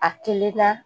A kelen na